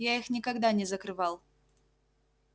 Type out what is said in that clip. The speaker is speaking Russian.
я их никогда не закрывал